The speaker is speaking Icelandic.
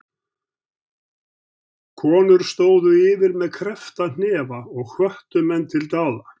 Konur stóðu yfir með kreppta hnefa og hvöttu menn til dáða.